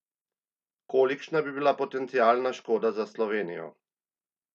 Kolikšna bi bila potencialna škoda za Slovenijo?